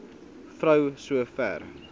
vrou so ver